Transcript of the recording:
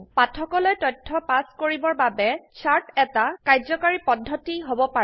পাঠকলৈ তথ্য পাছ কৰিবৰ বাবে চাৰ্ট এটা কাৰ্যকৰী পদ্ধতি হব পাৰে